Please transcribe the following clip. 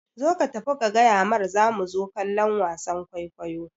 Zo ka tafi ka gayamar zamu zo kallon wasan kwaikwayo